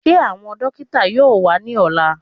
Ṣé àwọn dókítà yóò wá ní ọ̀la?